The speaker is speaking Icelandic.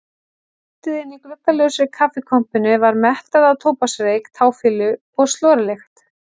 Loftið inni í gluggalausri kaffikompunni var mettað af tóbaksreyk, táfýlu og slorlykt.